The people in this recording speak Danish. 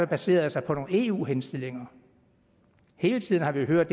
baserer sig på nogle eu henstillinger hele tiden har vi hørt